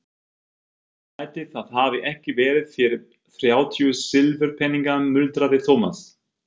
Ætli það hafi ekki verið fyrir þrjátíu silfurpeninga muldraði Thomas.